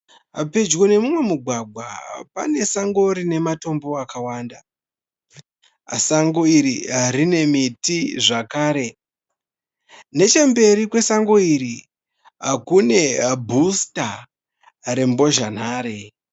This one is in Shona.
Pedyo nemumwe mugwagwa panesango rine matombo akawanda. Sango iri rine miti zvakare .Nechemberi kwesango iri kune bhutsa rembozhanhare.